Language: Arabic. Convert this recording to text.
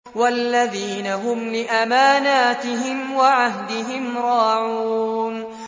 وَالَّذِينَ هُمْ لِأَمَانَاتِهِمْ وَعَهْدِهِمْ رَاعُونَ